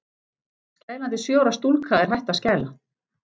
Skælandi sjö ára stúlka er hætt að skæla.